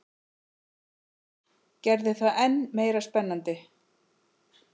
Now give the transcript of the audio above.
Gerði það enn meira spennandi.